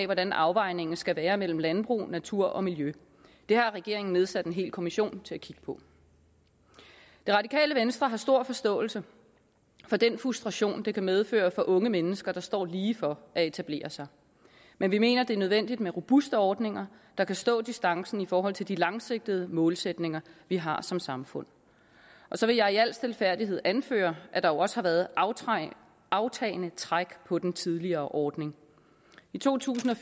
hvordan afvejningen skal være mellem landbrug natur og miljø det har regeringen nedsat en hel kommission til at kigge på det radikale venstre har stor forståelse for den frustration det kan medføre for unge mennesker der står lige for at etablere sig men vi mener det er nødvendigt med robuste ordninger der kan stå distancen i forhold til de langsigtede målsætninger vi har som samfund og så vil jeg i al stilfærdighed anføre at der jo også har været et aftagende træk på den tidligere ordning i to tusind og